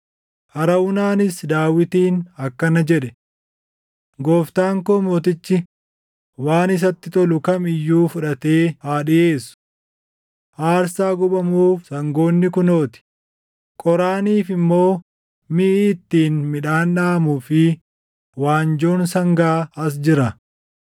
Arawunaanis Daawitiin akkana jedhe; “Gooftaan koo mootichi waan isatti tolu kam iyyuu fudhatee haa dhiʼeessu. Aarsaa gubamuuf sangoonni kunoo ti; qoraaniif immoo miʼi ittiin midhaan dhaʼamuu fi waanjoon sangaa as jira.